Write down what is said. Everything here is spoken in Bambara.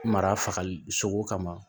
Mara fagali sogo kama